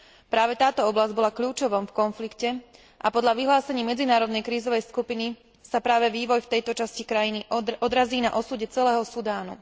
Práve táto oblasť bola kľúčom v konflikte a podľa vyhlásení medzinárodnej krízovej skupiny sa práve vývoj v tejto časti krajiny odrazí na osude celého Sudánu.